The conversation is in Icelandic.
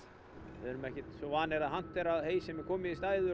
við erum ekkert svo vanir að hantera hey sem er komið í stæður